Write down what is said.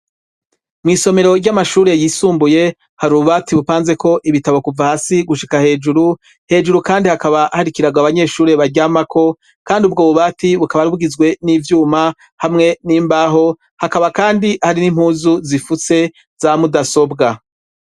mu isomero ry'amashuri yisumbuye har bubati bupanze ko ibitabo kuva hasi gushika hejuru hejuru kandi hakaba harikiraga abanyeshuri bajyamako kandi ubwo bubati bukabarbwizwe n'ivyuma hamwe n'imbaho hakaba kandi hari n'impuzu zifutse zamudasobwa